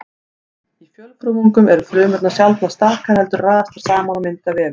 Í fjölfrumungum eru frumurnar sjaldnast stakar heldur raðast þær saman og mynda vefi.